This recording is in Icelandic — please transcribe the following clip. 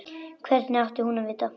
Hvernig átti hún að vita-?